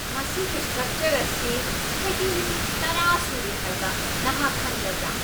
ꯃꯁꯤꯒꯤ ꯁꯇ꯭ꯔꯛꯆꯔ ꯑꯁꯤ ꯆꯍꯤ ꯂꯤꯁꯤꯡ ꯇꯔꯥ ꯁꯨꯔꯦ ꯍꯥꯏꯕ ꯅꯍꯥꯛ ꯈꯪꯂꯕ꯭ꯔꯥ?